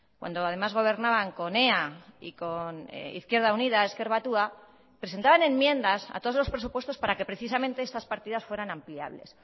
cuando además gobernaban con ea y con izquierda unida ezker batua presentaban enmiendas a todos los presupuestos para que precisamente estas partidas fueran ampliables